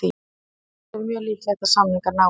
Á þessari stundu er mjög líklegt að samningar náist.